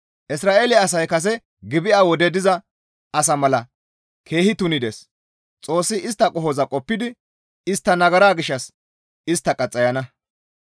Isra7eele asay kase Gibi7a wode diza asa mala keehi tunides; Xoossi istta qohoza qoppidi istta nagara gishshas istta qaxxayana.